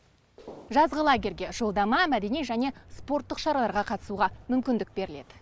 жазғы лагерьге жолдама мәдени және спорттық шараларға қатысуға мүмкіндік беріледі